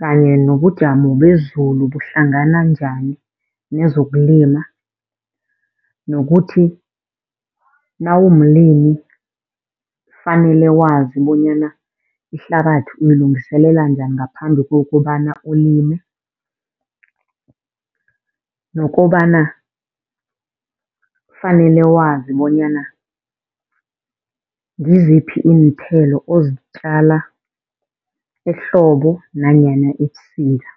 kanye nobujamo bezulu buhlangana njani nezokulima. Nokuthi nawumlimi fanele wazi bonyana ihlabathi uyilungiselela njani ngaphambi kokobana ulime nokobana fanele wazi bonyana ngiziphi iinthelo ozitjala ehlobo nanyana ebusika.